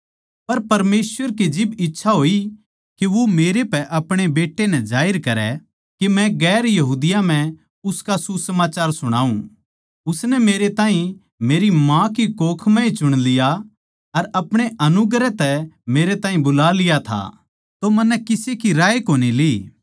पर परमेसवर की जिब इच्छा होई के वो मेरे पै आपणे बेट्टे नै जाहिर करै के मै गैर यहूदियाँ म्ह उसका सुसमाचार सुणाऊँ उसनै मेरे ताहीं मेरी माँ की कोख म्ह ए चुन लिया अर अपणे अनुग्रह तै मेरे ताहीं बुला लिया था तो मन्नै किसे की राय कोनी ली